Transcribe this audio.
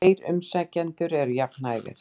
Tveir umsækjendur eru jafn hæfir.